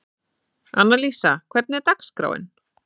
Annalísa, hvernig er dagskráin?